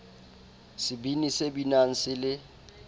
sebini se binang se le